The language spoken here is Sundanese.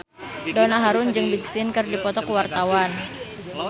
Donna Harun jeung Big Sean keur dipoto ku wartawan